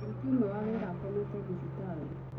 Mũruti ũmwe wa wĩra akomete thibitarĩ.